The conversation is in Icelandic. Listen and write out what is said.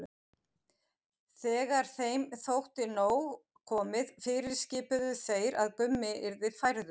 Þegar þeim þótti nóg komið fyrirskipuðu þeir að Gummi yrði færður.